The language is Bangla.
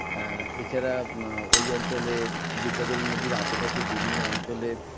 আ এছাড়া আ ওই অঞ্চলের বিদ্যাধরী নদীর আশেপাশে বিভিন্ন অঞ্চলে